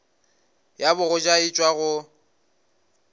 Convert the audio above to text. ya bogoja e tšwa go